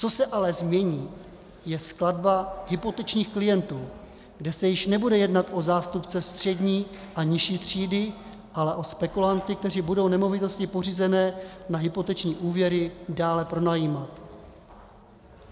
Co se ale změní, je skladba hypotečních klientů, kde se již nebude jednat o zástupce střední a nižší třídy, ale o spekulanty, kteří budou nemovitosti pořízené na hypoteční úvěry dále pronajímat.